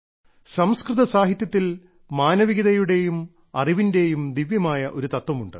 സംസ്കൃത സാഹിത്യത്തിൽ മാനവികതയുടെയും അറിവിന്റെയും ദിവ്യമായ ഒരു തത്വമുണ്ട്